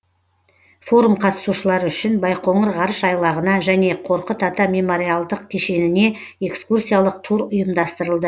форум қатысушылары үшін байқоңыр ғарыш айлағына және қорқыт ата мемориалдық кешеніне экскурсиялық тур ұйымдастырылды